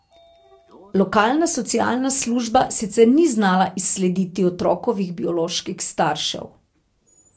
Lokalna socialna služba sicer ni znala izslediti otrokovih bioloških staršev.